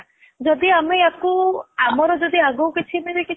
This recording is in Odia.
ଯଦି ଆମର ୟାକୁ ଆମର ଯଦି ଆଗକୁ କିଛି ମାନେ